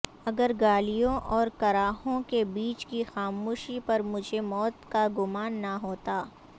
اگر گالیوں اور کراہوں کے بیچ کی خاموشی پر مجھے موت کا گمان نہ ہوتا